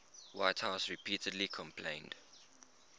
whitehouse repeatedly complained